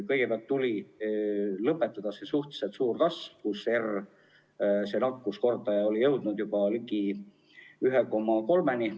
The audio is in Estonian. Kõigepealt tuli lõpetada see suhteliselt suur kasv, kus nakkuskordaja R oli jõudnud juba ligi 1,3-ni.